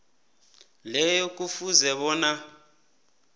leyo kufuze bona